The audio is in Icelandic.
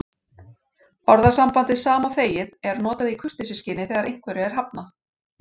Orðasambandið sama og þegið er notað í kurteisisskyni þegar einhverju er hafnað.